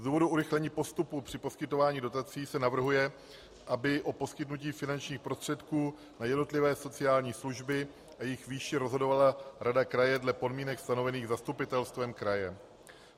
Z důvodů urychlení postupu při poskytování dotací se navrhuje, aby o poskytnutí finančních prostředků na jednotlivé sociální služby a jejich výši rozhodovala rada kraje dle podmínek stanovených zastupitelstvem kraje.